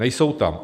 Nejsou tam.